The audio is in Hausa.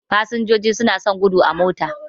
Fasinjoji suna son gudu sosai a mota.